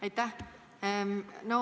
Aitäh!